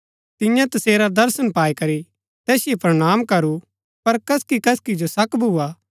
तियें तसेरा दर्शन पाई करी तैसिओ प्रणाम करू पर कसकि कसकि जो शक भुआ